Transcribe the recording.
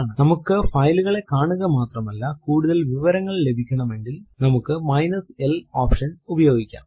നമുക്ക് file കളെ കാണുക മാത്രമല്ല കൂടുതൽ വിവരങ്ങൾ ലഭിക്കണമെങ്കിൽ നമ്മുക്ക് മൈനസ് l എൽ ഓപ്ഷൻ ഉപയോഗിക്കാം